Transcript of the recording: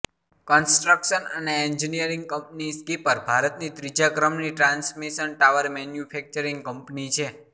construction અને engineering company Skipper ભારતની ત્રીજા ક્રમની ટ્રાન્સમિશન ટાવર મેન્યુફેક્ચરિંગ કંપની છે